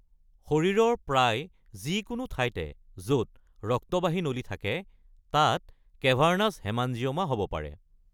শৰীৰৰ প্ৰায় যিকোনো ঠাইতে য’ত ৰক্তবাহী নলী থাকে তাত কেভাৰ্নাছ হেমাঞ্জিঅ’মা হ’ব পাৰে।